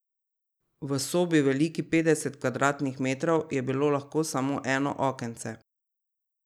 V sobi, veliki petdeset kvadratnih metrov, je bilo lahko samo eno okence.